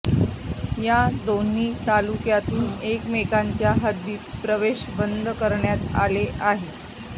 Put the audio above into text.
या दोन्ही तालुक्यातून एकमेकांच्या हद्दीत प्रवेश बंदी करण्यात आली आहे